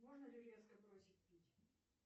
можно ли резко бросить пить